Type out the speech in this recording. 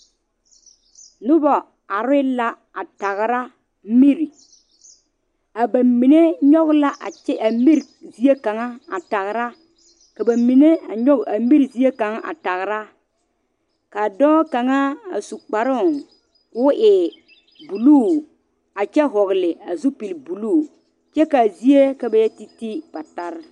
Noba are la a tagra mire a ba mine nyoŋ la a kyɛ a mire zie kaŋa a tagra ka ba mine a nyoŋ a mire zie kaŋa a tagra ka dɔɔ kaŋa a su kparo ko'o e buluu kyɛ vɔgle a zupele buluu kyɛ kaa zie ka ba yɛ titi patara.